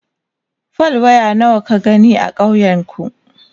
fal. waya nawa ka gani a ƙauyen ku?